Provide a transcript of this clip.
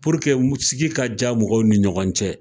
Puruke sigi ka diya mɔgɔw ni ɲɔgɔn cɛ